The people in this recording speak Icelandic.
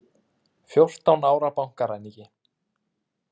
Fjórtán ára bankaræningi